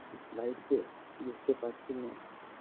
Life -এ বুঝতে পারছি না